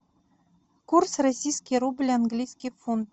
курс российский рубль английский фунт